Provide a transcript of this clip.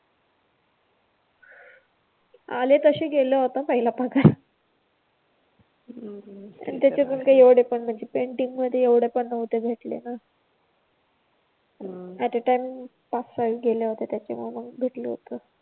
आले तसे गेले होता पहिला पगार. हम्म ते तर आहेच. त्याचे पण काय एवढे पण म्हणजे पेंटिंग मध्ये एव्हढे पण नव्हत भेटले ना अट अ टाइम पाच सहा गेल्या होत्या त्याच्यामुळे मग भेटले होते